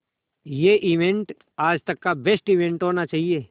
ये इवेंट आज तक का बेस्ट इवेंट होना चाहिए